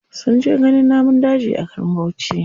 Sun je ganin namun daji a garin bauchi.